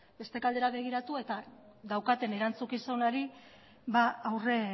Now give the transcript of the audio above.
beste aldera begiratu eta daukaten erantzukizunari aurre